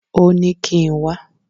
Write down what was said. Ó ní kí n wá.